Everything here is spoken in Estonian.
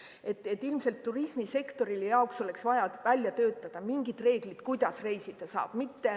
Ilmselt oleks vaja turismisektori jaoks välja töötada mingid reeglid, kuidas reisida saab.